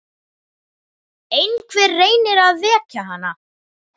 Einhver reynir að vekja hana.